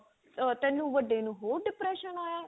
ਆ ਤੇਨੂੰ ਵੱਡੇ ਨੂੰ ਬਹੁਤ depression ਆਇਆ